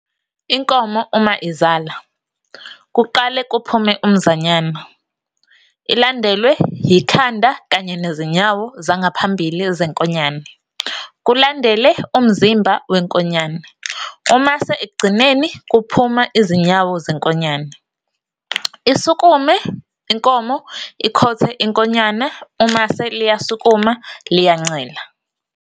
Inkomo uma izala, kuqale kuphume umzanyane, ilandelwe yikhanda kanye nezinyawo zangaphambili zenkonyane, kulandele umzimba wenkonyane, umase ekugcineni kuphuma izinyawo zenkonyane. Isukume inkomo ikhothe inkonyane umase liyasukuma, liyancela.